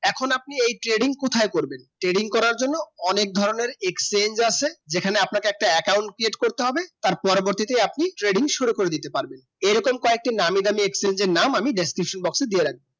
এখন আপনি trading কোথায় করবেন trading করার জন্য অনেক ধরণে exchange আসে যেখানে আপনাকে একটা account Create করতে হবে তার পরবর্তীতে আপনি trading শুরু করে দিতে পারবেন এই রকম কয়েকটি নামি দামি exchange নাম আমি description box দিয়ে রাখবো